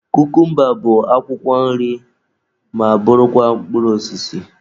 Kukumba bụ akwụkwọ nri ma bụrụkwa mkpụrụ osisi.